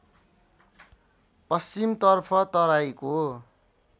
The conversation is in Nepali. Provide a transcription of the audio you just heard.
पश्चिमतर्फ तराईको